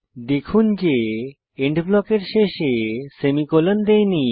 দেখুন যে এন্ড ব্লকের শেষে সেমিকোলন দেইনি